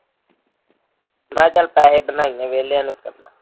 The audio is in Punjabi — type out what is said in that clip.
ਮੈਂ ਚੱਲ ਪੈਹੇ ਬਣਾਈਏ ਵਿਹਲਿਆਂ ਨੂੰ ਤਾਂ